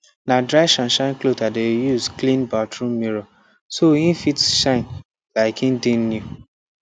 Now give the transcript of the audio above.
na dry shineshine cloth i de use clean bathroom mirror so e fit shine like e dey new